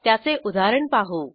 त्याचे उदाहरण पाहू